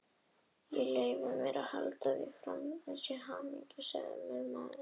Ég leyfi mér að halda því fram, að ég sé hamingjusamur maður.